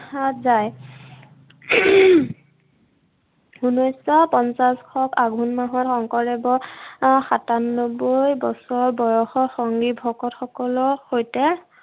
দেখা যায়। উনৈচশ পঞ্চাশ শক আঘোণ মাহত শংকৰদেৱৰ আহ সাতান্নব্বৈ বছৰ বয়সত সংগী ভকতসকলৰ সৈতে